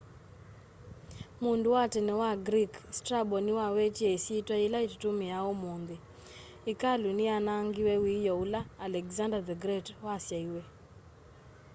mundu wa tene wa greek strabo niwawetie isyitwa yila tutumiaa umunthi ikalu ni yanaangiwe wioo ula alexander the great wasaiwe